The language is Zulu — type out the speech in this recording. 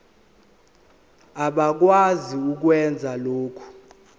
abakwazi ukwenza lokhu